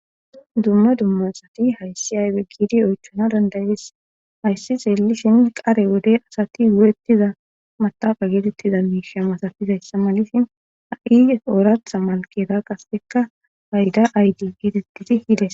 Dumma dumma asati hayssi aybe giidi oychana dandayees hayssi xeelishin qare wode asati gu7ettiza mataqa geetettiza miisha masatizayssa malisin ha7ie ooratha malkeeta kasekka payda aydi geetettidi hides.